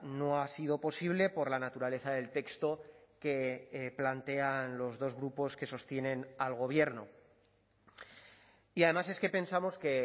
no ha sido posible por la naturaleza del texto que plantean los dos grupos que sostienen al gobierno y además es que pensamos que